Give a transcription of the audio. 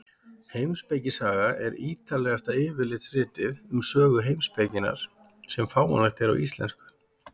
Heimspekisaga er ítarlegasta yfirlitsritið um sögu heimspekinnar sem fáanlegt er á íslensku.